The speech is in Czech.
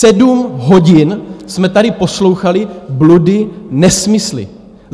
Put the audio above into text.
Sedm hodin jsme tady poslouchali bludy, nesmysly.